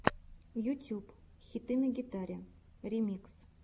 ютюб хиты на гитаре ремикс